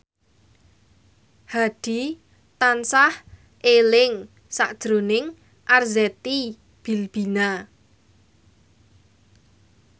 Hadi tansah eling sakjroning Arzetti Bilbina